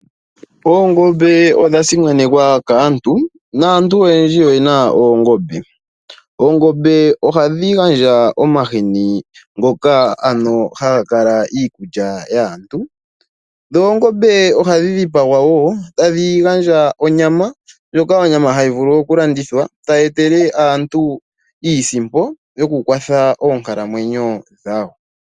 Oongombe odha simanekwa kaantu, naantu oyendji oye na oongombe, oongombe ohadhi gandja omahini ngoka ano haga kala iikulya yaantu noongombe ohadhi dhipagwa wo tadhi gandja onyama ndjoka onyama tayi vulu oku landithwa tayi etele aantu iisimpo yokukwatha oonkalamwenyo dhawo.